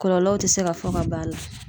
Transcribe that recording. Kɔlɔlɔw te se ka fɔ ka b'a la